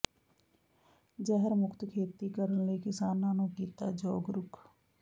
ਜ਼ਹਿਰ ਮੁਕਤ ਖੇਤੀ ਕਰਨ ਲਈ ਕਿਸਾਨਾਂ ਨੂੰ ਕੀਤਾ ਜਾਗਰੂਕ